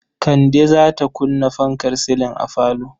Kande za ta kunna fankar silin a falo.